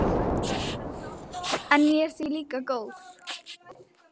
En ég er því líka góð.